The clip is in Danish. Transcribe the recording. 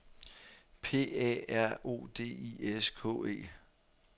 P A R O D I S K E